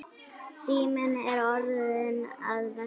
Síminn er orðinn að veski.